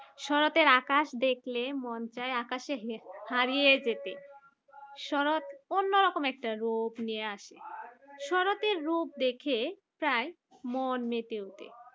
শরৎ এর আকাশ দেখলে মন চায় আকাশে হে হারিয়ে যেতে শরৎ অন্যরকম একটা রূপ নিয়ে আসে। শরৎ রূপ দেখে প্রায় মন মেতে ওঠে